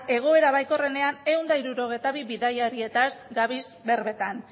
egoera baikorrenean ehun eta hirurogeita bi bidaiariez gabiltza berbetan